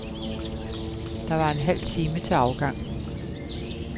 Der var en halv time til afgang.